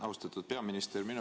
Austatud peaminister!